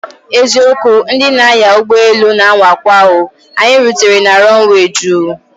Eziokwu! Ndị na anya ụgbọ elu na anwakwa o, anyị rutere na runway juu